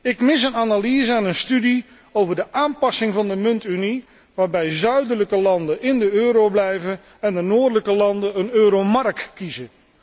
Ik mis een analyse en een studie over de aanpassing van de muntunie, waarbij zuidelijke landen in de euro blijven en de noordelijke landen een euromark kiezen.